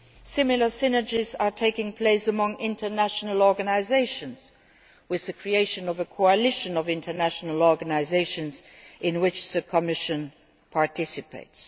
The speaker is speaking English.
Similar synergies are taking place among international organisations, with the creation of a coalition of international organisations in which the Commission participates.